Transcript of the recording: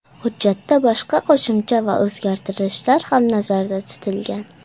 Hujjatda boshqa qo‘shimcha va o‘zgartirishlar ham nazarda tutilgan.